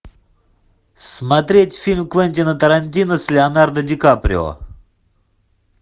смотреть фильм квентина тарантино с леонардо ди каприо